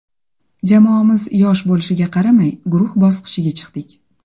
Jamoamiz yosh bo‘lishiga qaramay, guruh bosqichiga chiqdik.